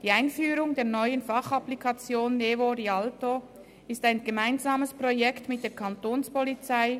Die Einführung der neuen Fachapplikation «NeVo/Rialto» ist ein gemeinsames Projekt mit der Kantonspolizei.